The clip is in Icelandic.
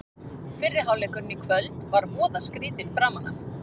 Fyrri hálfleikurinn í kvöld var voða skrýtinn framan af.